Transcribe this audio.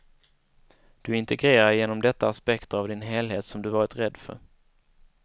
Du integrerar genom detta aspekter av din helhet som du varit rädd för.